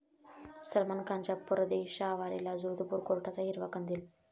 सलमान खानच्या परदेशवारीला जोधपूर कोर्टाचा हिरवा कंदील